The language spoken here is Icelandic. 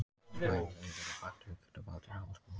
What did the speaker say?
Bæði veirur og bakteríur geta valdið hálsbólgu.